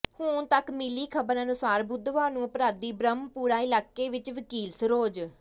ਹੁਣ ਤੱਕ ਮਿਲੀ ਖ਼ਬਰ ਅਨੁਸਾਰ ਬੁੱਧਵਾਰ ਨੂੰ ਅਪਰਾਧੀ ਬ੍ਰਹਮਪੁਰਾ ਇਲਾਕੇ ਵਿੱਚ ਵਕੀਲ ਸਰੋਜ